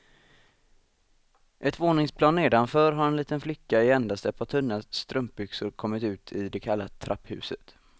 Ett våningsplan nedanför har en liten flicka i endast ett par tunna strumpbyxor kommit ut i det kalla trapphuset.